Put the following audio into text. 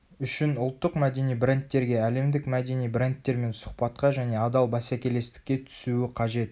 үшін ұлттық мәдени брендтерге әлемдік мәдени брендтермен сұхбатқа және адал бәсекелестікке түсуі қажет